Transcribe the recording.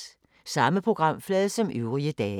Samme programflade som øvrige dage